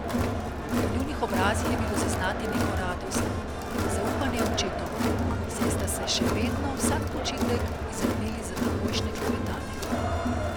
Na njunih obrazih je bilo zaznati neko radost, zaupanje očetoma, saj sta še vedno vsak počitek izrabili za takojšne klepetanje.